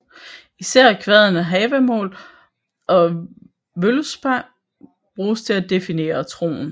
Især kvadene Havamál og Völuspá bruges til at definere troen